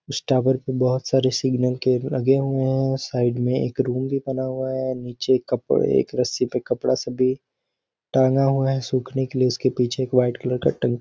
उस टावर पे बहुत सारे सिंगनल केब लगे हुए हैं साइड में एक रूम भी बना हुआ है नीचे कपड़े एक रस्सी पर कपड़ा सब भी टाँगा हुआ है सूखने के लिए उसके पीछे एक व्हाइट कलर का टंकी --